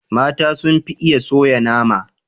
Mata sun fi iya soya nama.